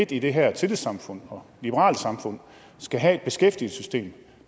i det her tillidssamfund og liberale samfund skal have et beskæftigelsessystem